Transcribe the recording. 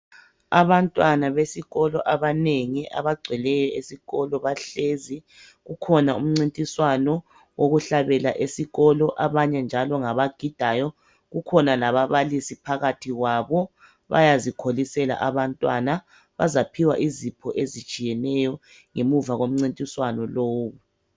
Abantwana besikolo abanengi, Abagcweleyo esikolo, bahlezi. Kukhona umncintiswano wokuhlabela esikolo. Abanye njalo ngabayagidayo. Kukhona lababalisi phakathi kwabo, ,Bayazikholisela abantwana. Bazaphiwa izipho ezitshiyeneyo, ngemuva komncintiswano lowo,